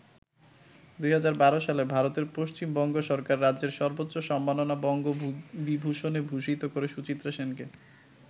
২০১২ সালে ভারতের পশ্চিম বঙ্গ সরকার রাজ্যের সর্বোচ্চ সম্মাননা বঙ্গ বিভূষণে ভূষিত করে সুচিত্রা সেনকে।